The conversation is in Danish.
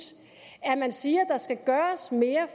at man siger at der skal gøres mere